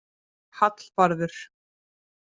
Hallvarður